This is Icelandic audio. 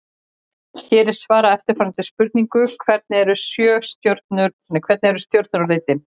Hér er svarað eftirfarandi spurningum: Hvernig eru stjörnur á litinn?